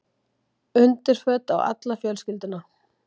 Undirföt á alla fjölskylduna.